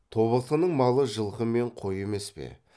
тобықтының малы жылқы мен қой емес пе